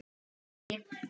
Traust í orði og verki.